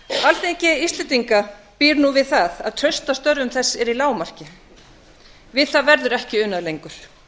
alþingi íslendinga býr nú við það að traust á störfum þess er í lágmarki við það verður ekki unað lengur